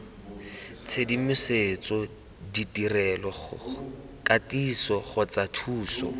tshedimosetso ditirelo katiso kgotsa thuso